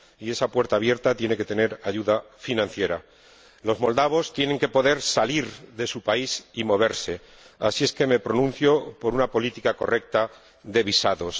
Y esa puerta abierta tiene que tener ayuda financiera. Los moldovos tienen que poder salir de su país y moverse, por lo que me pronuncio a favor de una política correcta de visados.